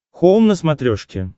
хоум на смотрешке